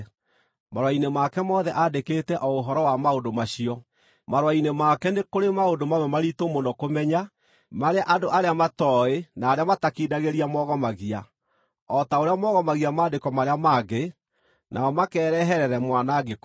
Marũa-inĩ make mothe aandĩkĩte o ũhoro wa maũndũ macio. Marũa-inĩ make nĩ kũrĩ maũndũ mamwe maritũ mũno kũmenya, marĩa andũ arĩa matooĩ na arĩa matakindagĩria mogomagia, o ta ũrĩa mogomagia Maandĩko marĩa mangĩ, nao makereherere mwanangĩko.